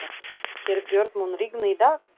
Herbjört, mun rigna í dag?